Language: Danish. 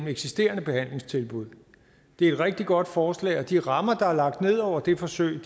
eksisterende behandlingstilbud det er et rigtig godt forslag og de rammer der er lagt ned over det forsøg